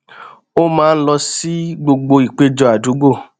ó máa ń lọ sí gbogbo ìpéjọ àdúgbò